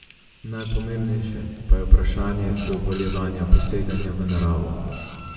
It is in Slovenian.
Najpomembnejše pa je vprašanje dovoljevanja poseganja v naravo.